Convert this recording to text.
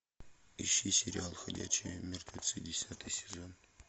ищи сериал ходячие мертвецы десятый сезон